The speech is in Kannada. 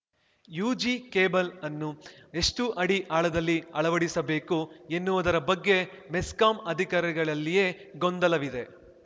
ಯುಜಿ ಕೇಬಲ್‌ಅನ್ನು ಎಷ್ಟುಅಡಿ ಆಳದಲ್ಲಿ ಅಳವಡಿಸಬೇಕು ಎನ್ನುವುದರ ಬಗ್ಗೆ ಮೆಸ್ಕಾಂ ಅಧಿಕಾರಿಗಳಲ್ಲಿಯೆ ಗೊಂದಲವಿದೆ